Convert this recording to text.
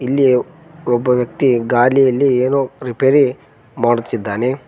ಇಲ್ಲಿ ಒಬ್ಬ ವ್ಯಕ್ತಿ ಗಾಲಿಯಲ್ಲಿ ಏನೋ ಪ್ರಿಪೇರಿ ಮಾಡುತ್ತಿದ್ದಾನೆ.